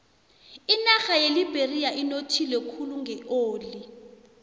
inarha yeliberia inothile khulu ngeoli